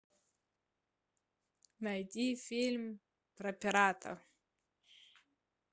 найди фильм про пирата